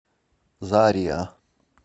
зариа